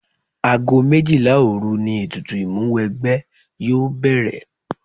Ago méjìlá òru ni ètùtù Ìmúwẹgbẹ́ yóò bẹ̀rẹ̀